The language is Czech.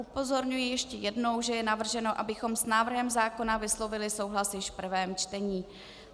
Upozorňuji ještě jednou, že je navrženo, abychom s návrhem zákona vyslovili souhlas již v prvém čtení.